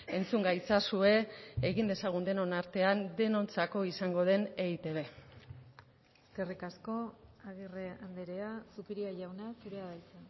entzun gaitzazue egin dezagun denon artean denontzako izango den eitb eskerrik asko agirre andrea zupiria jauna zurea da hitza